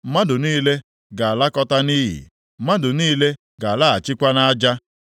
mmadụ niile ga-alakọta nʼiyi, mmadụ niile ga-alaghachikwa nʼaja.